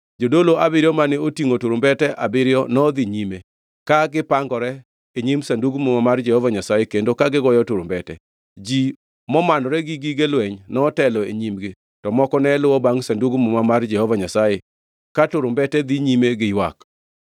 Jodolo abiriyo mane otingʼo turumbete abiriyo nodhi nyime, ka gipangore e nyim Sandug Muma mar Jehova Nyasaye kendo ka gigoyo turumbete. Ji momanore gi gige lweny notelo e nyimgi, to moko ne luwo bangʼ Sandug Muma mar Jehova Nyasaye ka turumbete dhi nyime gi ywak.